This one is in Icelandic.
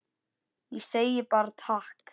Ég segi bara takk.